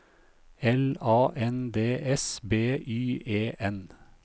L A N D S B Y E N